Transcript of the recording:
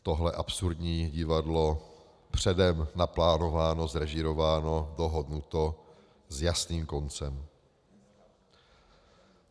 Tohle absurdní divadlo, předem naplánováno, zrežírováno, dohodnuto s jasným koncem?